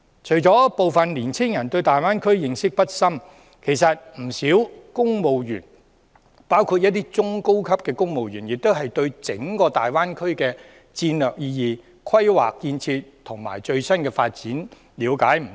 除了部分年青人對大灣區認識不深外，其實不少公務員，包括一些中高級的公務員亦對整個大灣區的戰略意義、規劃建設和最新發展了解不多。